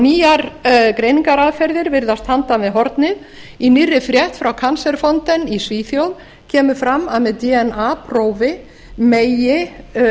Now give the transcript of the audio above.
nýjar greiningaraðferðir virðast handan við hornið í nýrri frétt frá cancer fountain í svíþjóð kemur fram að með dna prófi megi